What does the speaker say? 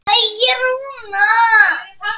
Farðu varlega gæskur.